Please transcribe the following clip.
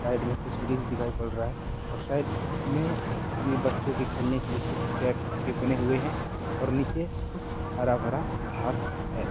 Side में कुछ rings दिखाई पड़ रहा है और साइड में ये बच्चों के खेलने के लिए कुछ टेप टेप के बने हुए हैं और नीचे कुछ हरा-भरा घास है।